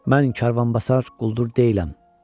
Mən karvanbasar quldur deyiləm.